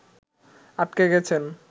আটকে গেছেন